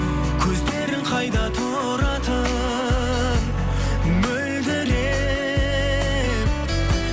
көздерің қайда тұратын мөлдіреп